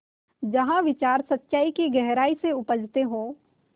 जहाँ विचार सच्चाई की गहराई से उपजतें हों